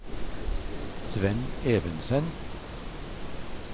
Svend Evensen